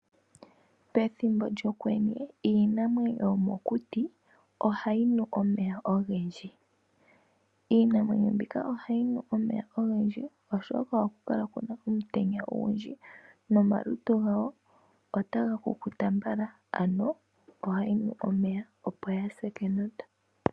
Pethimbo lyokwenye iinamwenyo yomokuti ohayi nu omeya ogendji . Iinamwenyo ohayi nu omeya ogendji oshoka ohaku kala kuna omutenya ogundji , nomalutu gawo otaga kukuta mbala ano ohayi nu omeya opo yaa hase kenota.